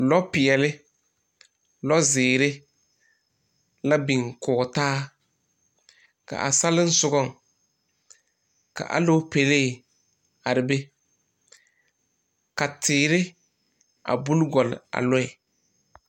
Lɔpeɛle lɔzeere la biŋ kɔge taa k,a salensogaŋ ka alopele a are be ka teere a buli gɔle a lɔɛ.